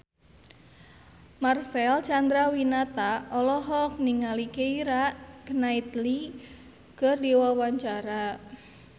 Marcel Chandrawinata olohok ningali Keira Knightley keur diwawancara